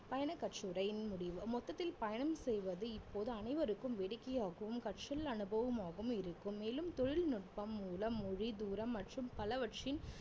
பயணக்கட்டுரையின் முடிவு மொத்தத்தில் பயணம் செய்வது இப்போது அனைவருக்கும் வேடிக்கையாகவும் கற்றல் அனுபவமாகவும் இருக்கும் மேலும் தொழில்நுட்பம் மூலம் மொழி, தூரம் மற்றும் பலவற்றின்